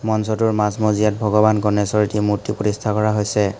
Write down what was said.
মঞ্চটোৰ মাজ মজিয়াত ভগৱান গণেশৰ এটি মূৰ্তি প্ৰতিষ্ঠা কৰা হৈছে।